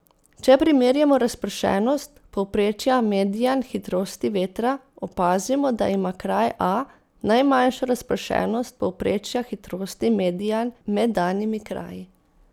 Če primerjamo razpršenost povprečja median hitrosti vetra, opazimo, da ima kraj A najmanjšo razpršenost povprečja hitrosti median med danimi kraji.